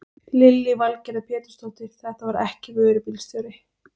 Lillý Valgerður Pétursdóttir: Þetta var ekki vörubílstjóri?